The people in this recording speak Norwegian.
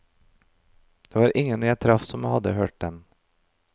Det var ingen jeg traff som hadde hørt den.